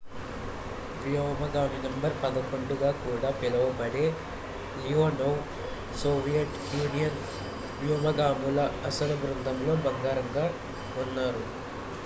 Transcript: """వ్యోమగామి నం. 11" గా కూడా పిలువబడే లియోనోవ్ సోవియట్ యూనియన్ వ్యోమగాముల అసలు బృందంలో భాగంగా ఉన్నారు.